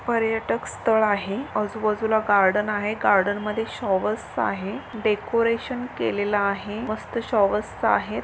पर्यटक स्थळ आहे आजूबाजूला गार्डन आहे गार्डन मध्ये शोवेर्स आहे डेकोरेशन केलेलं आहे मस्त शोवेर्स आहे.